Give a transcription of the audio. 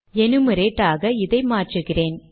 enumerate ஆக இதை மாற்றுகிறேன்